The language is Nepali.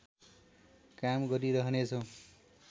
काम गरिरहनेछौँ